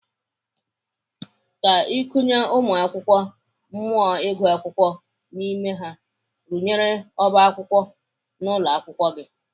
Ka ị kụnye ụmụakwụkwọ mmụọ ịgụ akwụkwọ n'ime ha, rụnyere ọba akwụkwọ n'ụlọ akwụkwọ gị.